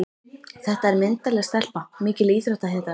Þetta er myndarleg stelpa, mikil íþróttahetja.